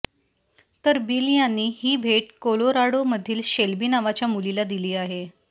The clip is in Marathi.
तर बिल यांनी ही भेट कोलोराडो मधील शेल्बी नावाच्या मुलीला दिली आहे